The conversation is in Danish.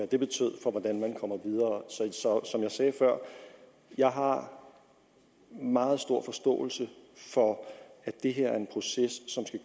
det betød for hvordan man kommer videre så som jeg sagde før jeg har meget stor forståelse for at det her er en proces som skal